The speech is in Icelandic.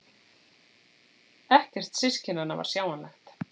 Ekkert systkinanna var sjáanlegt.